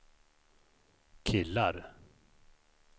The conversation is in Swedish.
killar